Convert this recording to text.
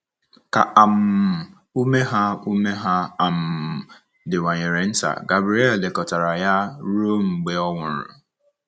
Ka um ume ha ume ha um diwanyere nta, Gabriele lekọtara ya ruo mgbe ọ nwụrụ.